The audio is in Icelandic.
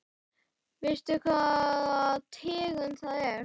Veistu hvaða tegund það er?